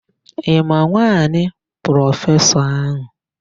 Ị ma nwaanyị prọfesọ áhụ̀?